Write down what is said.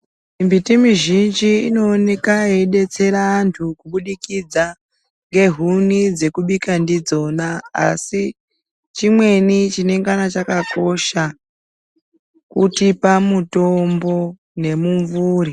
Mimbiti mizhinji inooneka yeidetsera antu kubudikidza ngehuni dzekubika ndidzona asi chimweni chinengana chakakosha, kutipa mutombo nemumvuri.